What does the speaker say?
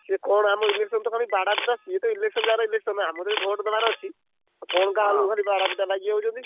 ସିଏ କଣ ଆମ election ତ ଖାଲି ବାଡ଼ାପିଟା। ସିଏତ election ଜାଗାରେ election ଆମର ତ ଖାଲି vote ଦବାର ଅଛି। କଣ ତ ଆମର ବାଡାପିଟା ଲାଗିଯାଉଛନ୍ତି।